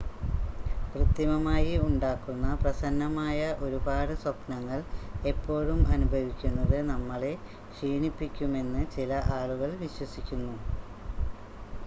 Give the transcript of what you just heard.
കൃത്രിമമായി ഉണ്ടാക്കുന്ന പ്രസന്നമായ ഒരുപാട് സ്വപ്‌നങ്ങൾ എപ്പോഴും അനുഭവിക്കുന്നത് നമ്മളെ ക്ഷീണിപ്പിക്കുമെന്ന് ചില ആളുകൾ വിശ്വസിക്കുന്നു